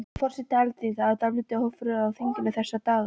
Forseti Alþingis, það er dálítill ófriður á þinginu þessa dagana?